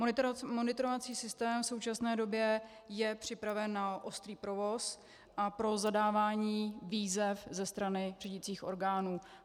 Monitorovací systém v současné době je připraven na ostrý provoz a pro zadávání výzev ze strany řídicích orgánů.